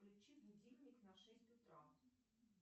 включи будильник на шесть утра